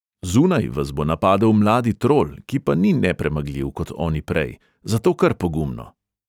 Zunaj vas bo napadel mladi trol, ki pa ni nepremagljiv kot oni prej, zato kar pogumno.